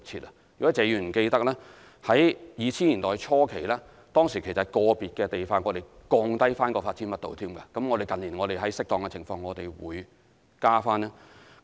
如果謝議員記得，於2000年代初期，當時在個別地區還降低發展密度，而近年我們在適當情況下會提高。